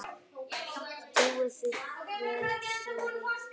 Trúi því hver sem vill.